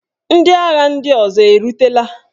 Ndị agha ndị ọzọ erutela?